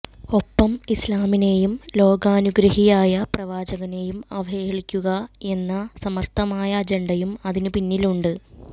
ഒപ്പം ഇസ്ലാമിനെയും ലോകാനുഗ്രഹിയായ പ്രവാചകനെയും അവഹേളിക്കുകയെന്ന സമര്ഥമായ അജണ്ടയും അതിനു പിന്നിലുണ്ട്